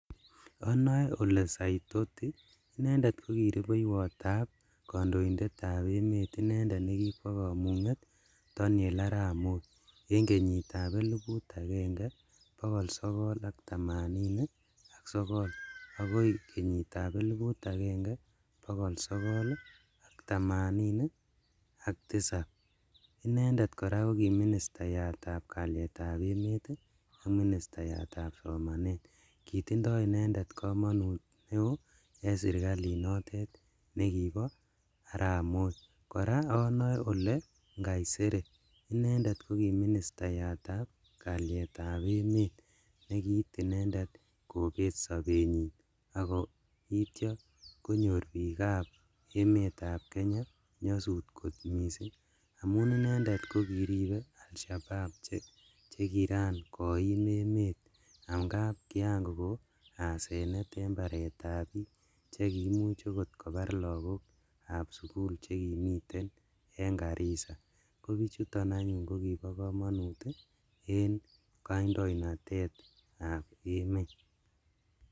Onoe Ole Saitoti inendet kokirubeiwotab kondoindetab emet inendet nekikwo komunget Danie Arap Moi en kenyitab eliput agenge bogol sogol ak tamanini ak sogol akoi kenyitab eliput agenge bogol sogol ak tisaini ak tisab, inendet koraa koki ministayatab kalietab emet ii ak ministayatab somanet, kitindo inendet komonut en sirkalinotet nekibo Arap moi, koraa onoe Ole Nkaiserry inendet koki ministayatab kalietab emet nekiit inendet kobet sobenyin ak koityo konyor bikab emetab Kenya nyosut kot missing' amun inendet kokiribe Al_Shabaab chekiran koim emet angap kiran kokon asenet en baretab bik chekiimuch okot kobar lagokab sukul chekimiten en Garissa kobichuton anyun kokibo komonut en kaindonaitetab emet.